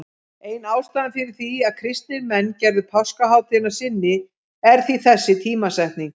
Ein ástæðan fyrir því að kristnir menn gerðu páskahátíðina að sinni er því þessi tímasetning.